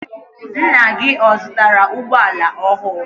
Ńnà gị ọ zụtara ụgbọala ọhụụ?